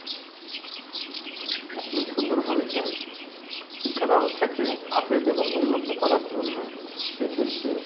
আপনি সুন্দর বলেছেন শিক্ষা ব্যাবস্থাকে upgrade এবং উন্নত করার জন্য সেক্ষেত্রে